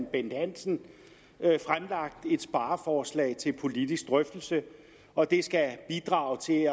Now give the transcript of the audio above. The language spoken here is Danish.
bent hansen fremlagt et spareforslag til politisk drøftelse og det skal bidrage til